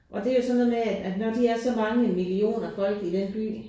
Og det jo sådan noget med at at når de er så mange millioner folk i den by